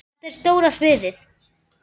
Þetta er stóra sviðið.